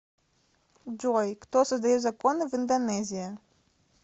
джой кто создает законы в индонезия